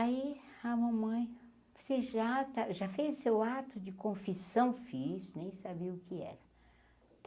Aí, a mamãe, você já ta já fez seu ato de confissão fiz, nem sabia o que era.